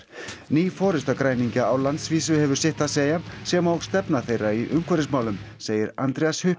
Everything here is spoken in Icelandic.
ný forysta græningja á landsvísu hefur sitt að segja sem og stefna þeirra í umhverfismálum segir Andreas